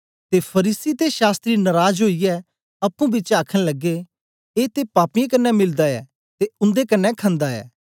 ते फरीसी ते शास्त्री नराज ओईयै अप्पुं पिछें आखन लगे ए ते पापीऐं कन्ने मिलदा ऐ ते उन्दे कन्ने खन्दा ऐ